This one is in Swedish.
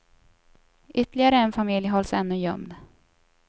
Ytterligare en familj hålls ännu gömd.